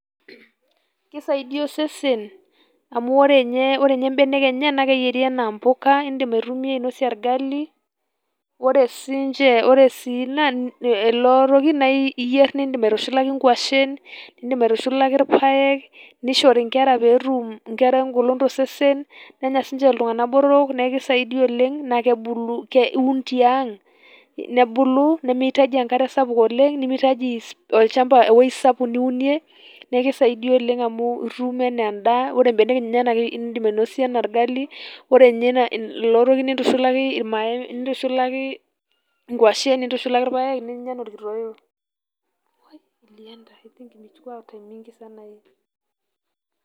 Keisaidia osesen amu ore ninye ore ninye mbenek enye naa keyieri anaa mpuka indim atumia ainosie olgali. Ore sii ilo toki naa iyierr niindim aitushulaki nkuashen, nindim aitushulaki ilpaek, nishori nkera peetum nkera engolon tosesen, nenya sii ninche iltung'anak botoro neeku keisaidia oleng' naa kebulu iun tiang' nebulu, nemeitaji enkare sapuk oleng' nemeitaji ewueji sapuk niunie neeku keisaidia oleng' amu itum anaa endaa ore mbenek enyena naa indim ainosa anaa olgali. Ore ninye ilo toki nintushulaki inkuashen nintushulaki ilpaek ninya anaa olkitooyo.